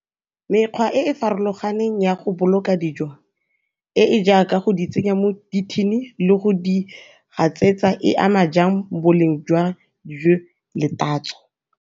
Mekgwa e e farologaneng ya go boloka dijo e e jaaka go di tsenya mo di-tin-ing le go di gatsetsa e ama jang boleng jwa le tatso.